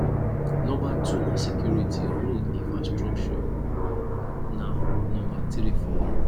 number two na security road infrastructure na number three for me